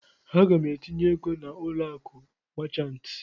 Aga m etinye ego na ụlọ akụ machantị.